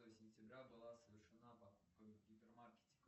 сентября была совершена покупка в гипермаркете